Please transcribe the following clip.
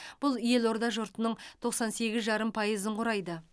бұл елорда жұртының тоқсан сегіз жарым пайызын құрайды